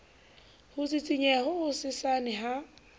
ho sisinyeha ho hosesane ha